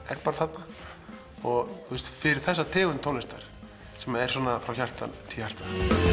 er bara þarna fyrir þessa tegund tónlistar sem er frá hjarta til hjarta